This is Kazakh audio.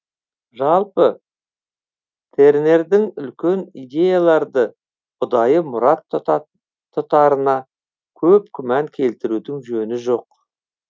жалпы тернердің үлкен идеяларды ұдайы мұрат тұтарына көп күмән келтірудің жөні жоқ